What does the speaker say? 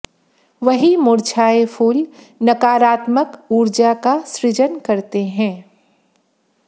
वहीं मुरझाए फूल नकारात्मक ऊर्जा का सृजन करते हैं